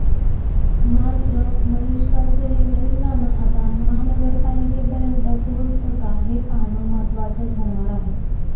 मात्र मलिष्काचं हे नवीन गाणं आता महानगरपालिकेपर्यंत पोहोचतं का हे पाहणं महत्त्वाचं ठरणार आहे